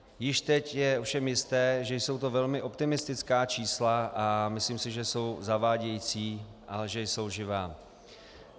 Již teď je ovšem jisté, že jsou to velmi optimistická čísla, a myslím si, že jsou zavádějící a že jsou lživá.